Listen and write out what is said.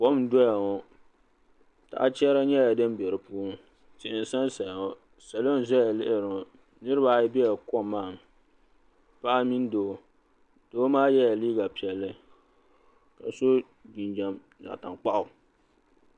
Kom n-doya ŋɔ tahi chɛra nyɛla din be di puuni tihi n-sansaya ŋɔ salo n-zaya lihiri ŋɔ niriba ayi bela kom maa ni paɣa mini doo doo maa yela liiga piɛlli ka so jinjam zaɣ'tankpaɣu.